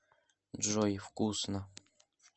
джой вкусно